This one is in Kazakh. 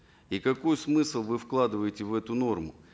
и какой смысл вы вкладываете в эту норму